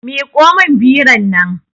Miƙo min biron nan